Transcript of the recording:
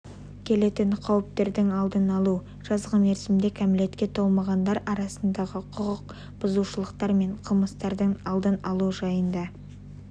келетін қауіптердің алдын алу жазғы мерзімде кәмелетке толмағандар арасындағы құқық бұзушылықтар мен қылмыстардың алдын алу жайында